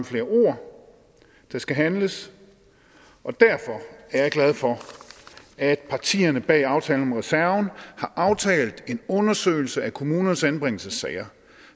flere ord der skal handles og derfor er jeg glad for at partierne bag aftalen om reserven har aftalt en undersøgelse af kommunernes anbringelsessager